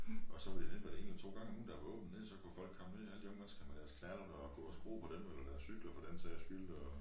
Og så var det det var det en eller 2 gange om ugen der var åbent dernede så kunne folk komme ned alle de unge mennesker med deres knallerter og gå og skrue på dem eller deres cykler for den sags skyld og